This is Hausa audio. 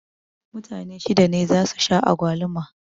Mutane shida ne za su sha agwaluma